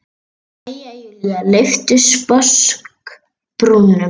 Jæja, Júlía lyfti sposk brúnum.